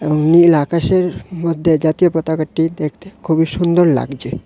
ও নীল আকাশের মধ্যে জাতীয় পতাকাটি দেখতে খুবই সুন্দর লাগছে।